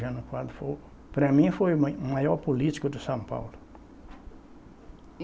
Jânio Quadros foi o, para mim foi mai o maior político de São Paulo.